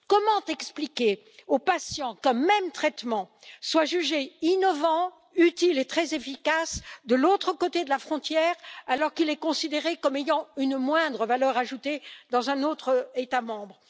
Comment expliquer aux patients qu'un même traitement soit jugé innovant, utile et très efficace d'un côté de la frontière, alors qu'il est considéré comme ayant une moindre valeur ajoutée dans un autre État membre?